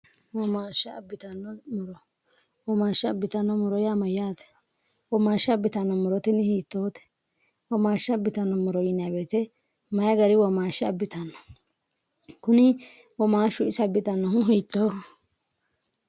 womaashsh abbitnnomoro womaashsha abbitanno moro yaamayyaate womaashsha abbitannommorotinni hiittoote womaashsha abbitanno moro yinaaweete mayi gari womaashsha abbitanno kuni womaashshu isa bbitannohu hiittooho